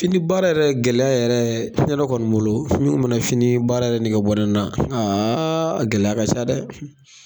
Fini baara yɛrɛ gɛlɛya yɛrɛ, ne yɛrɛ kɔni bolo, mun n mana fini baara yɛrɛ nege bɔ ne na a gɛlɛya ka ca dɛ